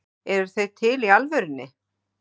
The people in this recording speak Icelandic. Eru þeir til í alvörunni?